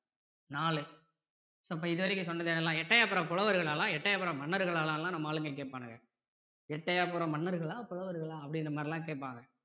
நாலு so இப்போ இது வரைக்கும் சொன்னது எல்லாம் எட்டயபுர புலவர்களெல்லாம் இல்ல எட்டயபுர மன்னர்களான்னுலாம் நம்ம ஆளுங்க கேப்பானுங்க எட்டயபுர மன்னர்களா புலவர்களா அப்படிங்கற மாதிரி எல்லாம் கேப்பாங்க